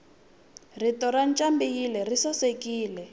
rito rancambileyi risasekile